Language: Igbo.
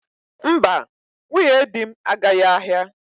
Mba, nwunye di m agaghị ahịa.